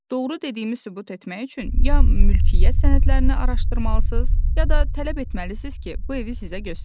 Doğru dediyimi sübut etmək üçün ya mülkiyyət sənədlərini araşdırmalısınız, ya da tələb etməlisiniz ki, bu evi sizə göstərim.